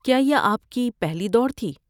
کیا یہ آپ کی پہلی دوڑ تھی؟